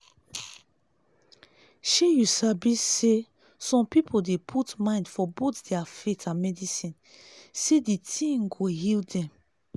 shey you sabi saysome people dey put mind for both their faith and medicine say d thing go heal them